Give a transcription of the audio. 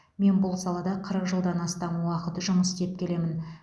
мен бұл салада қырық жылдан астам уақыт жұмыс істеп келемін